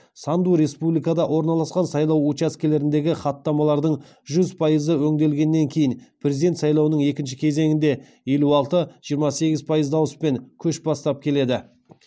санду республикада орналасқан сайлау учаскелеріндегі хаттамалардың жүз пайызы өңделгеннен кейін президент сайлауының екінші кезеңінде елу алты жиырма сегіз пайыз дауыспен көш бастап келеді